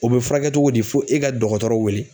O bɛ furakɛ cogo di fo e ka dɔgɔtɔrɔ wele.